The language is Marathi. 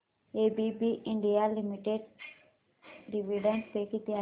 ABB India limited dividend pay किती आहे